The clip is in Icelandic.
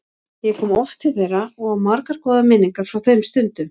Ég kom oft til þeirra og á margar góðar minningar frá þeim stundum.